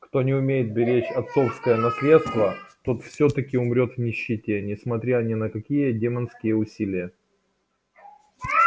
кто не умеет беречь отцовское наследство тот всё-таки умрёт в нищете несмотря ни на какие демонские усилия